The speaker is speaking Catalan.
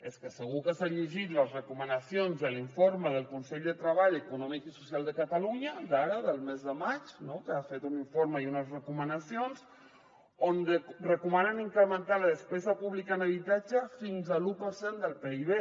és que segur que s’ha llegit les recomanacions de l’informe del consell de treball econòmic i social de catalunya d’ara del mes de maig no que han fet un informe i unes recomanacions on recomanen incrementar la despesa pública en habitatge fins a l’un per cent del pib